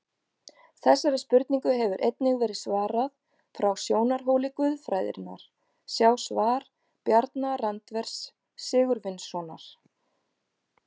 Þessari spurningu hefur einnig verið svarað frá sjónarhóli guðfræðinnar, sjá svar Bjarna Randvers Sigurvinssonar.